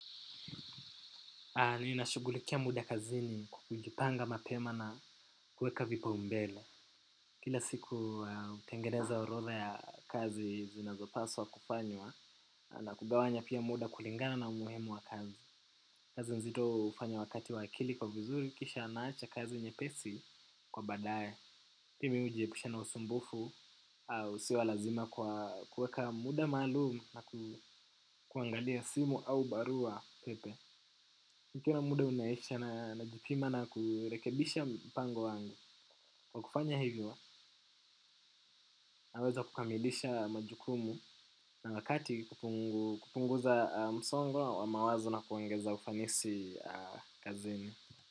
Ninashugulikia muda kazini kwa kujipanga mapema na kuweka vipa umbele. Kila siku utengeneza urodha ya kazi zinazopaswa kufanywa na kugawanya pia muda kulingana na umuhimu wa kazi. Kazi nzito hufanya wakati wa akili kuwa vizuri kisha naacha kazi nyepesi kwa baadae. Pia mimi ujiepusha na usumbufu usio wa lazima kwa kuweka muda maalumu na kuangalia simu au barua pepe. Nikiona muda unaisha na najipima na kurekebisha mpango wangu. Kwa kufanya hivyo naweza kukamilisha majukumu na wakati kupunguza msongo wa mawazo na kuongeza ufanisi kazini.